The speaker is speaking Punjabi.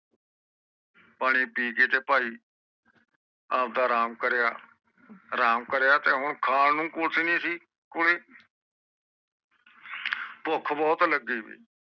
ਪਾਣੀ ਪੀ ਕੇ ਤੇ ਭਾਈ ਆਪਦਾ ਅਰਾਮ ਕਰਿਆ, ਆਰਾਮ ਕਰਿਆ ਤੇ ਹੁਣ ਖਾਣ ਨੂੰ ਕੁਜ ਨੀ ਸੀ ਭੁੱਖ ਬਹੁਤ ਲਗੀ ਬੀ।